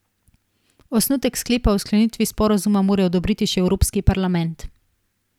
Osnutek sklepa o sklenitvi sporazuma mora odobriti še Evropski parlament.